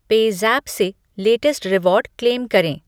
PayZapp से latest reward claim करें ।